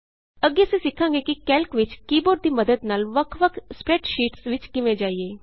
ਅੱਗੇ ਅਸੀਂ ਸਿੱਖਾਂਗੇ ਕਿ ਕੈਲਕ ਵਿਚ ਕੀ ਬੋਰਡ ਦੀ ਮੱਦਦ ਨਾਲ ਵੱਖ ਵੱਖ ਸਪਰੈੱਡਸ਼ੀਟਸ ਵਿਚ ਕਿਵੇਂ ਜਾਈਏ